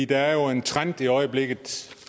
der er en trend i øjeblikket